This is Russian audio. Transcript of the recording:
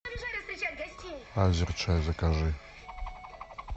азерчай закажи